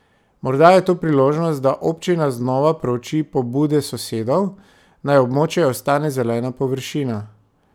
Morda je to priložnost, da občina znova prouči pobude sosedov, naj območje ostane zelena površina.